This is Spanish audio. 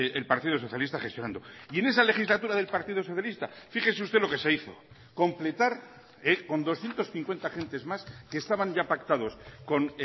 el partido socialista gestionando y en esa legislatura del partido socialista fíjese usted lo que se hizo completar con doscientos cincuenta agentes más que estaban ya pactados con